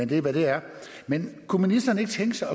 det er hvad det er men kunne ministeren ikke tænke sig